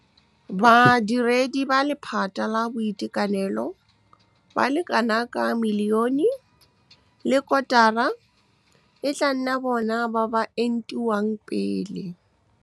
Badiredi ba lephata la boitekanelo ba le kanaka milione le kotara e tla nna bona ba ba entiwang pele. Badiredi ba lephata la boitekanelo ba le kanaka milione le kotara e tla nna bona ba ba entiwang pele.